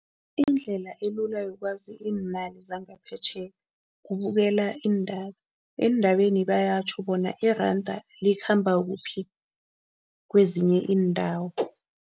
Indlela elula yokwazi iimali zangaphetjheya, kubukela iindaba. Eendabeni bayatjho bona iranda likhamba kuphi kwezinye iindawo.